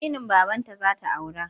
Aminin babanta za ta aura.